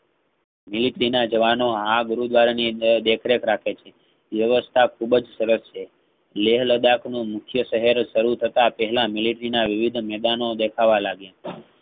military ના જવાનો આ ગુરુદ્વાર ની અંદર દેખરેખ રાખે છે. વ્યવસ્થા ખુબ જ સરસ છે. લેહ-લદ્દાખ ને નીછે સહારે શરુ થતા થતા પેહલા military ના વિવિધ મેદાનો દેખાવા લાગે